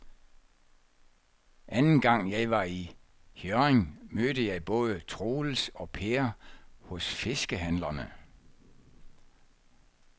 Anden gang jeg var i Hjørring, mødte jeg både Troels og Per hos fiskehandlerne.